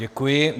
Děkuji.